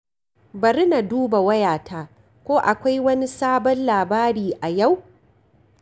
Bari na duba wayata, ko akwai wani sabon labari a yau.